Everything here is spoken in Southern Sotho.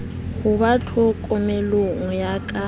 ho ba tlhokomelong ya ka